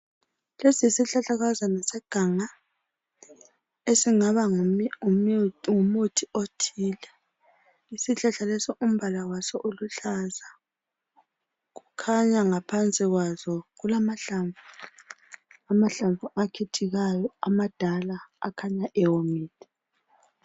Lesi yisihlahlakazana seganga esingaba ngumuthi othile isihlahla lesi umbala waso uluhlaza kukhanya ngaphansi kwawo kulamahlamvu akhithikayo amadala akhanya ewomile.